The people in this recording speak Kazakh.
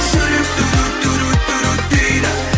жүрек дейді